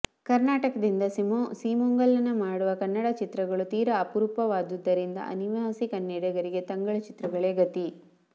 ಕರ್ನಾಟಕದಿಂದ ಸೀಮೋಲ್ಲಂಘನ ಮಾಡುವ ಕನ್ನಡ ಚಿತ್ರಗಳು ತೀರಾ ಅಪರೂಪವಾದುದರಿಂದ ಅನಿವಾಸಿ ಕನ್ನಡಿಗರಿಗೆ ತಂಗಳು ಚಿತ್ರಗಳೇ ಗತಿ